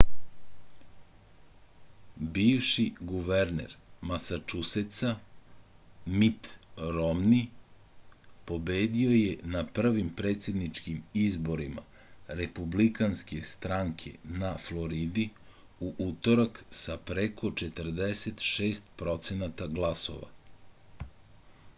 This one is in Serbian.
bivši guverner masačusetsa mit romni pobedio je na prvim predsedničkim izborima republikanske stranke na floridi u utorak sa preko 46 procenata glasova